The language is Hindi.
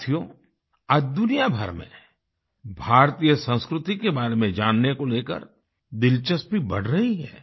साथियो आज दुनियाभर में भारतीय संस्कृति के बारे में जानने को लेकर दिलचस्पी बढ़ रही है